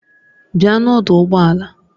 Bịa n'ọdụ ụgbọ ala!